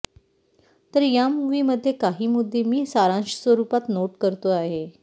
तर या मूव्ही मधले काही मुद्दे मी सारांश स्वरुपात नोट करतो आहे